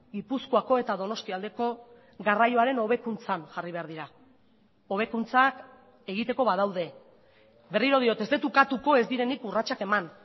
gipuzkoako eta donostia aldeko garraioaren hobekuntzan jarri behar dira hobekuntzak egiteko badaude berriro diot ez dut ukatuko ez direnik urratsak eman